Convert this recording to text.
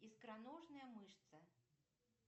икроножная мышца